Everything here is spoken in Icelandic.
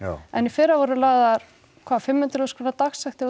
en í fyrra voru lagðar hvað fimm hundruð þúsund króna dagsektir og